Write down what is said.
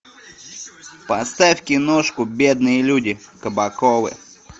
поставь киношку бедные люди кабаковы